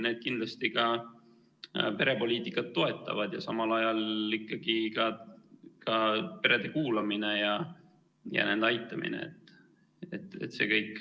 Need kindlasti perepoliitikat toetavad ja samal ajal ikkagi ka perede kuulamine ja nende aitamine, see kõik.